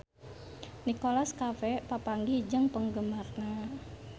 Nicholas Cafe papanggih jeung penggemarna